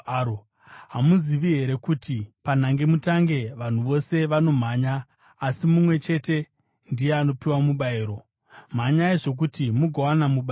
Hamuzivi here kuti panhangemutange vanhu vose vanomhanya, asi mumwe chete ndiye anopiwa mubayiro? Mhanyai zvokuti mugowana mubayiro.